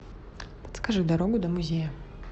подскажи дорогу до музея